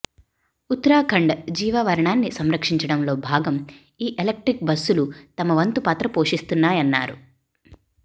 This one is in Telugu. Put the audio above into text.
ఉత్తరాఖండ్ జీవావరణాన్ని సంరక్షించడంలో భాగం ఈ ఎలక్ట్రిక్ బస్సులు తమ వంతు పాత్ర పోషిస్తాయన్నారు